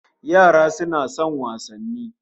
Yara suna son wasanni